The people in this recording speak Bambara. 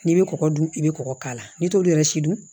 N'i bɛ kɔgɔ dun i bɛ kɔgɔ k'a la n'i t'olu yɛrɛ si dun